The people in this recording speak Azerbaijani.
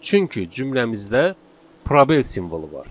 Çünki cümləmizdə probel simvolu var.